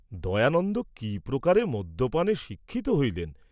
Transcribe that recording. দয়ানন্দ কি প্রকারে মদ্যপানে শিক্ষিত হইলেন।